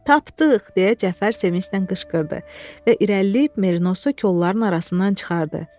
Tapdıq, deyə Cəfər sevinclə qışqırdı və irəliləyib merinosu kolların arasından çıxardı.